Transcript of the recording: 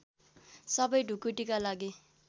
सबै ढुकुटीका लागि